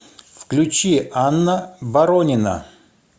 включи анна боронина